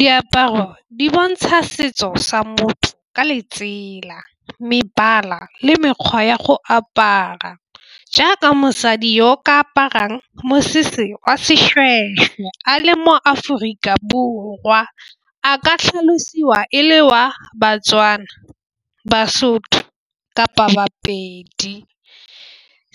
Diaparo di bontsha setso sa motho ka letsela mebala le mekgwa ya go apara jaaka mosadi yo ka aparang mosese wa seshweshwe a le mo-Aforika Borwa a ka tlhalosiwa e le wa Batswana, Basotho kapa Bapedi.